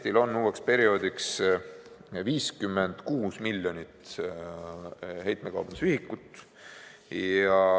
Eestil on uueks perioodiks 56 miljonit heitmekaubanduse ühikut.